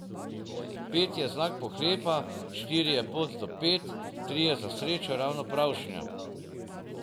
Pet je znak pohlepa, štiri je pot do pet, tri je za srečo ravno pravšnja.